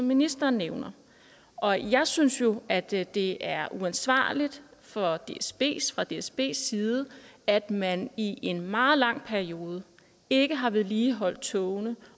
ministeren nævner og jeg synes jo at det det er uansvarligt fra dsbs fra dsbs side at man i en meget lang periode ikke har vedligeholdt togene